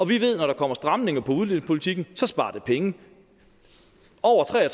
vi ved at når der kommer stramninger på udlændingepolitikken så sparer det penge over tre og